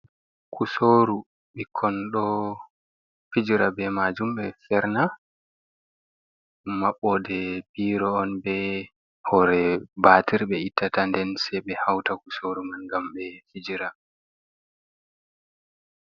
Kusoru ɓikkon do fijira be majum. Ɓe ferna maɓɓode biro on be hore batir ɓe ittata nden sei be hauta kusoru man ngam ɓe fijira.